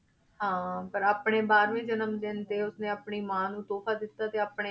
ਹਾਂ ਪਰ ਆਪਣੇ ਬਾਰਵੇਂ ਜਨਮ ਦਿਨ ਤੇ ਉਸਨੇ ਆਪਣੀ ਮਾਂ ਨੂੰ ਤੋਹਫ਼ਾ ਦਿੱਤਾ ਤੇ ਆਪਣੇ,